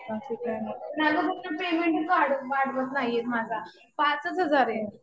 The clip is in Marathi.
माझा पण पेमेंटच वाढवत नाही माझा. पाचच हजार आहे.